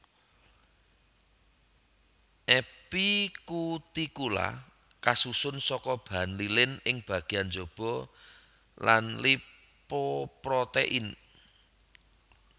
Epikutikula kasusun saka bahan lilin ing bagéyan njaba lan lipoprotein